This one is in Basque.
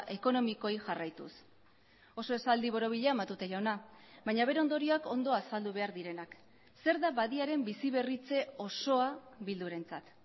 ekonomikoei jarraituz oso esaldi borobila matute jauna baina bere ondorioak ondo azaldu behar direnak zer da badiaren biziberritze osoa bildurentzat